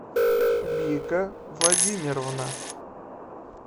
вика владимировна